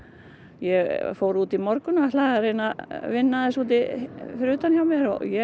ég fór út í morgun og ætlaði að reyna að vinna aðeins fyrir utan hjá mér en